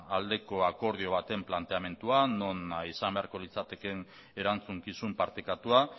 aldeko akordio baten planteamenduan non izan beharko litzateke erantzukizun partekatua